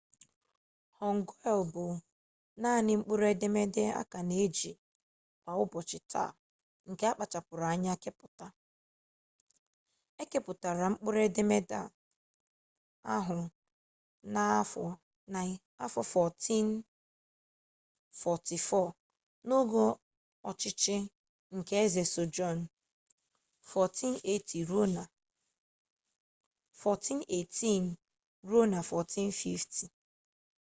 hangeul bụ naanị mkpụrụ edemede a ka na-eji kwa ụbọchị taa nke akpachara anya kepụta. e kepụtara mkpụrụ edemede ahụ n'afọ 1444 n'oge ọchịchị nke eze sejong 1418 – 1450